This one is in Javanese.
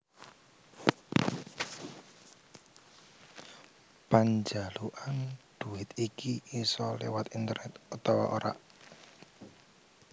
Panjalukan duwit iki isa léwat internet utawa ora